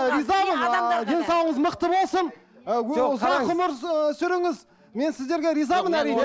ы ризамын ыыы денсаулығыңыз мықты болсын ы ұзақ өмір ы сүріңіз мен сіздерге ризамын әрине